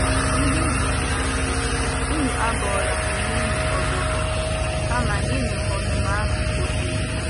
Ndị m hụrụ n’anya, unu abọrọla onwe unu ọbọ bọ, kama nyenụ ọnụma ahụ ohere. ”